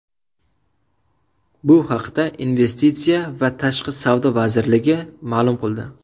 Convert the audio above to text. Bu haqda Investitsiya va tashqi savdo vazirligi ma’lum qildi .